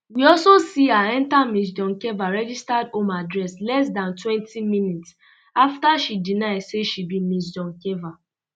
we also see her um enta ms doncheva registered home address less dan twenty minutes um afta she deny say she be ms doncheva